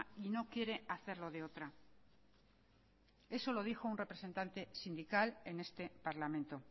y no quiere hacerlo de otra eso lo dijo un representante sindical en este parlamento